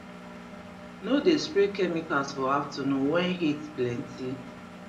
no dey spray chemicals for afternoon wen heat plenty